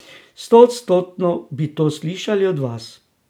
Stoodstotno bi to slišali od vas.